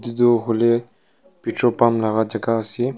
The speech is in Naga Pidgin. etu hoiley petrol pump laga jaga ase.